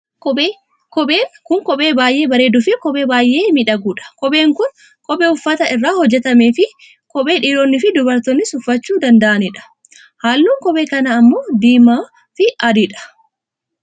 Kophee, kopheen kun kophee baayyee bareeddu fi kophee baayyee miidhagduudha. Kopheen kun kophee uffata irraa hojjatamteefi kophee dhiironniifi dubartoonnis uffachuu danda'ani dha. Halluun qophee kanaa ammoo diimaa, fi adii dha.